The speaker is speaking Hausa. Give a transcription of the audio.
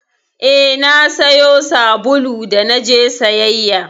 Eh, na sayo sabulu da naje sayayya